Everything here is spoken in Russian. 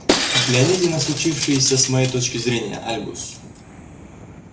взгляните на случившееся с моей точки зрения альбус